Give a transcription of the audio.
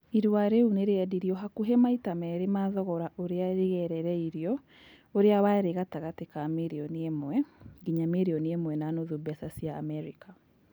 Irũa rĩu nĩ rĩendirĩo hakuhĩ maita merĩ ma thogora ũrĩa regerereirĩo ũrĩa warĩ gatagati ka mirionĩ ĩmwe nginya mirionĩ ĩmwe na nuthu beca cia amerĩka.